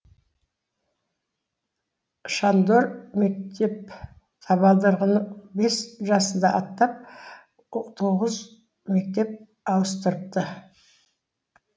шандор мектеп табалдырығыны бес жасында аттап тоғыз мектеп ауыстырыпты